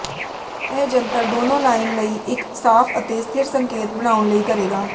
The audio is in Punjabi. ਇਹ ਜੰਤਰ ਦੋਨੋ ਲਾਈਨ ਲਈ ਇੱਕ ਸਾਫ ਅਤੇ ਸਥਿਰ ਸੰਕੇਤ ਬਣਾਉਣ ਲਈ ਕਰੇਗਾ